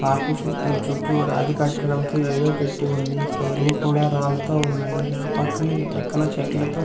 Park చు ఉ చుట్టూ రాతి కట్టడం తో ఎదో పెట్టి ఉంది. ఈ ఫ్లోరింగ్ కూడా రాళ్ళతో ఉన్నాయి. ఆ పక్కన ఈ పక్కన చెట్లతో--